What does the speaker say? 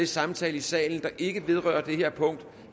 samtale i salen der ikke vedrører det her punkt